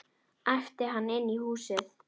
æpti hann inn í húsið.